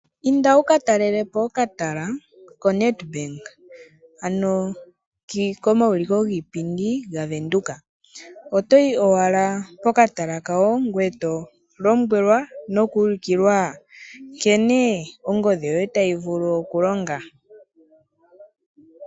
Inda wukatalelepo okatala koNedBank ano komauliko giipindi gaVenduka, oto yi owala pokatala kawo ngoye eto lombwelwa nokuulukilwa nkene ongodhi yoye tayi vulu okulonga.